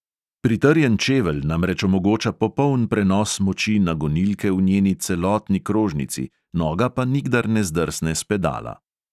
Pritrjen čevelj namreč omogoča popoln prenos moči na gonilke v njeni celotni krožnici, noga pa nikdar ne zdrsne s pedala.